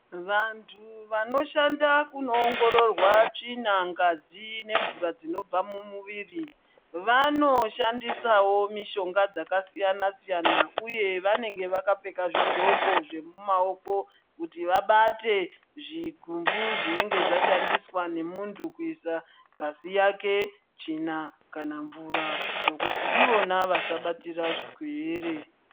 Vandu vanoshanda kunoongororwa tsvina ,ngazi nemvura dzinobva mumuviri vanoshandisawo mushonga dzakasiyana -siyana uye vanenge vakapfeka zvidxoko zvemumaoko kuti vabate zvigumbu zvinenge zvashandiwa nemundu kuisa ngazi yake tsvina kana mvura kuti ivona vasabatira zvirwere.